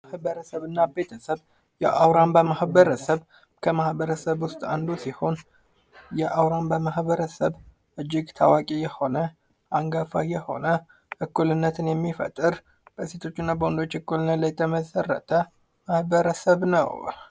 ማበረሰብና ቤተሰብ የአውራምባ ማህበረሰብ ከማህበረሰብ ውስጥ አንዱ ሲሆን የአውራምባ ማህበረሰብ እጅግ ታዋቂ የሆነ አንጋፋ የሆነ እኩልነትን የሚፈጠር በወንዶችና በሴቶች አንተ እኩልነት ላይ የተመሠረተ ማህበረሰብ ነው።